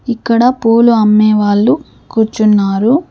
ఇక్కడ పూలు అమ్మే వాళ్ళు కూర్చున్నారు.